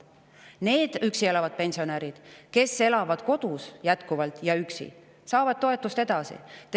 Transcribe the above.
Need üksi elavad pensionärid, kes elavad jätkuvalt kodus ja üksi, saavad toetust edasi.